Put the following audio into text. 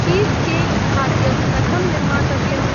चीज़्केक्‌-खाद्यं कथं निर्मातव्यम्?